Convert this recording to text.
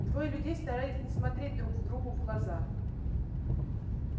двое людей старались не смотреть друг другу в глаза